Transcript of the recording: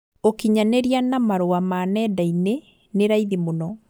ũkinyanĩria na marũa ma nendainĩ nĩ raithi mũno